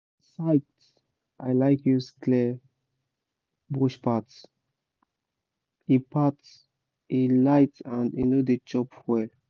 site i like use clear bush path—e path—e light and e no dey chop fuel